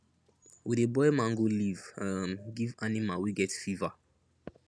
we dey boil mango leaf um give animal wey get fever